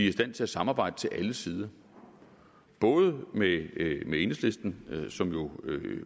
i stand til at samarbejde til alle sider både med enhedslisten som jo